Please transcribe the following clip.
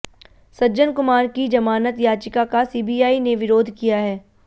सज्जन कुमार की जमानत याचिका का सीबीआई ने विरोध किया है